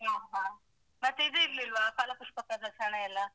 ಹಾ. ಹಾ. ಮತ್ತೆ ಇದು ಇರ್ಲಿಲ್ವಾ ಫಲ ಪುಷ್ಪ ಪ್ರದರ್ಶನ ಎಲ್ಲಾ?